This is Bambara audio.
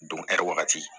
wagati